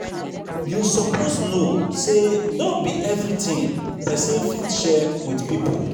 you suppose know sey no be everytin pesin fit share wit pipo.